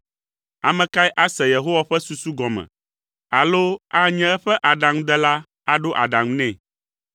Ame kae ase Yehowa ƒe susu gɔme alo anye eƒe aɖaŋudela aɖo aɖaŋu nɛ?